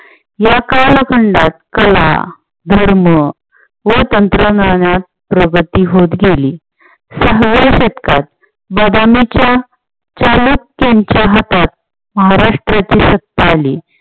या कालखंडात कला, धर्म व तंत्रज्ञानात प्रगती होत गेली. सहाव्या शतकात चालुक्यांच्या हातात महाराष्ट्राची सत्ता आली.